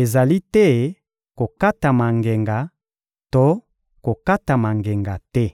ezali te: kokatama ngenga to kokatama ngenga te.